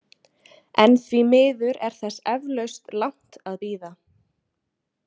En því miður er þess eflaust langt að bíða.